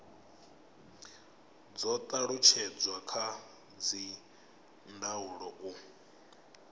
do talutshedzwa kha dzindaulo u